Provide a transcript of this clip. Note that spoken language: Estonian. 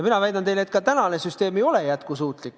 Mina väidan teile, et ka praegune süsteem ei ole jätkusuutlik.